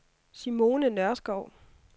Simone Nørskov